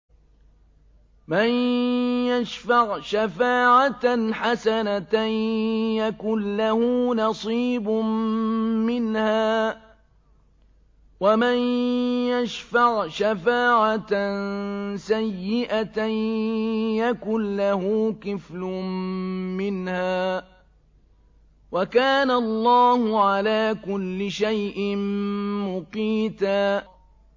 مَّن يَشْفَعْ شَفَاعَةً حَسَنَةً يَكُن لَّهُ نَصِيبٌ مِّنْهَا ۖ وَمَن يَشْفَعْ شَفَاعَةً سَيِّئَةً يَكُن لَّهُ كِفْلٌ مِّنْهَا ۗ وَكَانَ اللَّهُ عَلَىٰ كُلِّ شَيْءٍ مُّقِيتًا